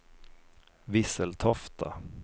Visseltofta